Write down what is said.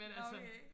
Nå okay